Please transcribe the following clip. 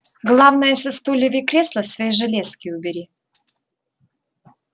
главное со стульев и кресла свои железки убери